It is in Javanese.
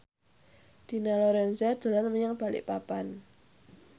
Dina Lorenza dolan menyang Balikpapan